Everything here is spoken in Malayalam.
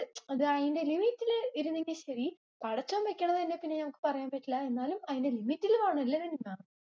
അത് അതിന്റെ limit ഇൽ ഇരുന്നെങ്കി ശെരി. പടച്ചോൻ വെക്കണത് പിന്നെ ഞങ്ങൾക്ക് പറയാൻ പറ്റില്ല എന്നാലും അതിന്റെ limit ഇൽ വേണം. ഇല്ലാതെ ഞ